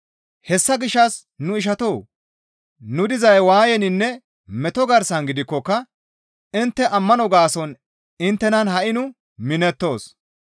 Hessa gishshas nu ishatoo! Nu dizay waayeninne meto garsan gidikkoka intte ammano gaason inttenan ha7i nu minettoos.